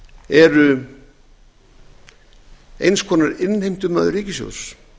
eru eins konar innheimtumaður ríkissjóðs